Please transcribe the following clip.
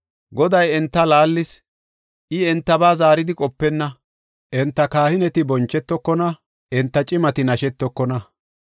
Goday enta laallis; I entaba zaaridi qopenna; enta kahineti bonchetokona; enta cimati nashetookona.